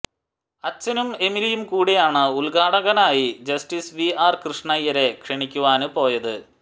അച്ചനും എമിലിയും കൂടിയാണ് ഉദ്ഘാടകനായി ജസ്റ്റിസ് വി ആര് കൃഷ്ണയ്യരെ ക്ഷണിക്കുവാന് പോയത്